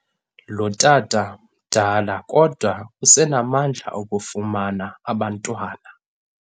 Lo tata mdala kodwa usenamandla okufumana abantwana.